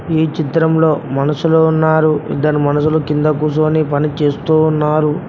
ఈ చిత్రంలో మనుషులు ఉన్నారు ఇద్దరు మనుషులు కింద కూర్చొని పని చేస్తూ ఉన్నారు.